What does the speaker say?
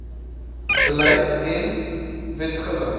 beleid en wetgewing